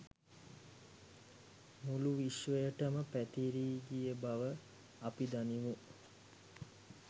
මුළු විශ්වයටම පැතිරී ගිය බව අපි දනිමු.